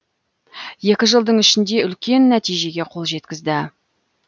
екі жылдың ішінде үлкен нәтижеге қол жеткізді